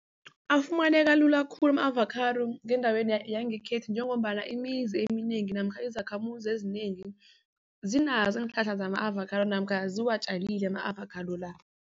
Afumaneka lula khulu ama-avocado endaweni yangekhethu njengombana imizi eminengi namkha izakhamuzi ezinengi zinazo iinhlahla zama-avocado namkha ziwatjalile ama-avocado la.